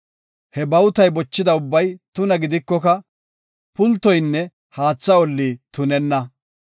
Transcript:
He bawutay bochida ubbay tuna gidikoka pultoynne haatha olli tunenna.